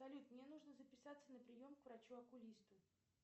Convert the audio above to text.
салют мне нужно записаться на прием к врачу окулисту